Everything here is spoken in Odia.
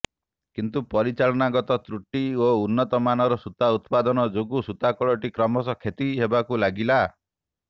କିନ୍ତୁ ପରିଚାଳନା ଗତ ତ୍ରୁଟି ଓ ଉନ୍ନତମାନର ସୂତା ଉତ୍ପାଦନ ଯୋଗୁ ସୂତାକଳଟି କ୍ରମଶଃ କ୍ଷତି ହେବାକୁ ଲାଗିଲା